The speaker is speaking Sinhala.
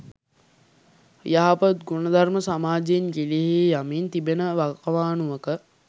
යහපත් ගුණධර්ම සමාජයෙන් ගිලිහී යමින් තිබෙන වකවානුවක